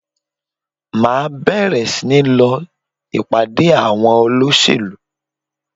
Màá bèrè sí ní lọ ìpàdé àwọn olóṣèlú